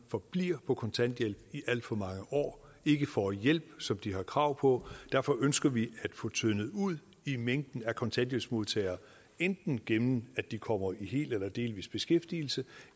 forbliver på kontanthjælp i alt for mange år og ikke får hjælp som de har krav på derfor ønsker vi at få tyndet ud i mængden af kontanthjælpsmodtagere enten gennem at de kommer i hel eller delvis beskæftigelse